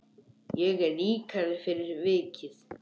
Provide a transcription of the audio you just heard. Ég er ríkari fyrir vikið.